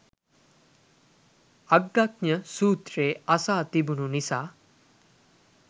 අග්ගඤ්ඤ සූත්‍රය අසා තිබුනු නිසා